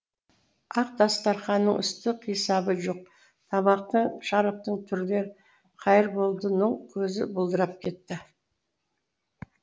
ақ дастарханның үсті қисабы жоқ тамақтың шараптың түрлері қайырболдының көзі бұлдырап кетті